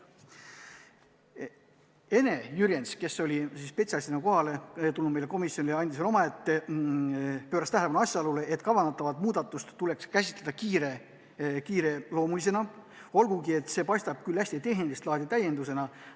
Ene Jürjens, kes oli spetsialistina komisjoni tulnud, pööras tähelepanu asjaolule, et kavandatavat muudatust tuleks käsitada kiireloomulisena, olgugi et see paistab hästi tehnilist laadi täiendusena.